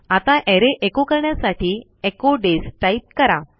आता अरे एचो करण्यासाठी एचो डेज टाईप करा